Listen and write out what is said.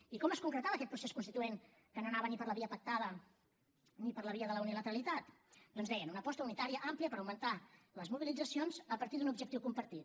i com es concretava aquest procés constituent que no anava ni per la via pactada ni per la via de la unilateralitat doncs deien una aposta unitària àmplia per augmentar les mobilitzacions a partir d’un objectiu compartit